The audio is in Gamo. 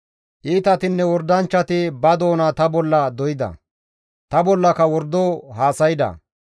Iitatinne wordanchchati ba doona ta bolla doyda; ta bollaka wordo haasayda.